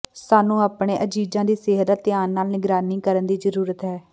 ਸਾਨੂੰ ਆਪਣੇ ਅਜ਼ੀਜ਼ਾਂ ਦੀ ਸਿਹਤ ਦਾ ਧਿਆਨ ਨਾਲ ਨਿਗਰਾਨੀ ਕਰਨ ਦੀ ਜ਼ਰੂਰਤ ਹੈ